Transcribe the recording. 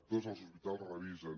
tots els hospitals revisen